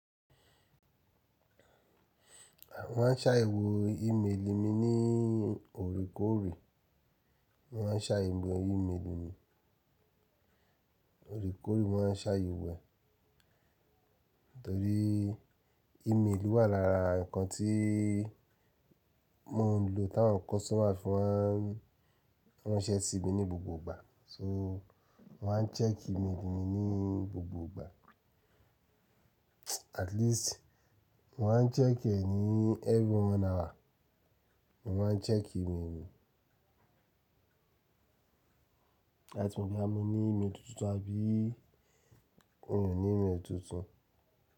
Mọ́ maá n ṣáayewo ìmelì mi ní oorekóore, mo maá n ṣáayewo ìmelì mi. Oore kóre mo máa n ṣáayéwo e, torí ìmelì wà lára nǹkan tí mo ń lò táwọn customer fi mà n ranṣẹ̀ sí mi ní gbogbo ìgbà. So wọ́n á ń check ìmelì mi ní gbogbo ìgbà. At least mo maá ń check ẹ ní every one hour. Mo maá ń check ìmelì mi. Láti mo boya mo ní ìmeli tuntun àbí mi o ní ìmeli tuntun.